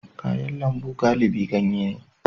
Kayan lambu galibi ganye ne